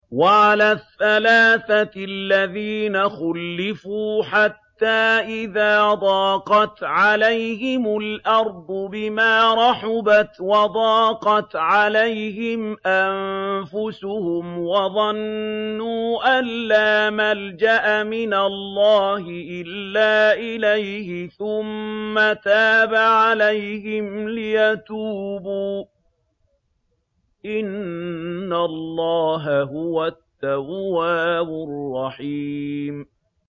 وَعَلَى الثَّلَاثَةِ الَّذِينَ خُلِّفُوا حَتَّىٰ إِذَا ضَاقَتْ عَلَيْهِمُ الْأَرْضُ بِمَا رَحُبَتْ وَضَاقَتْ عَلَيْهِمْ أَنفُسُهُمْ وَظَنُّوا أَن لَّا مَلْجَأَ مِنَ اللَّهِ إِلَّا إِلَيْهِ ثُمَّ تَابَ عَلَيْهِمْ لِيَتُوبُوا ۚ إِنَّ اللَّهَ هُوَ التَّوَّابُ الرَّحِيمُ